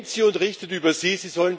Nehmt sie, und richtet über sie!